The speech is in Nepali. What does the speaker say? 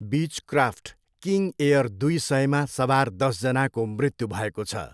बिचक्राफ्ट किङ एयर दुई सयमा सवार दसजनाको मृत्यु भएको छ।